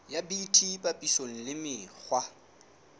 ya bt papisong le mekgwa